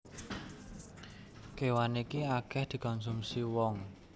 Kéwan iki akèh dikonsumsi wong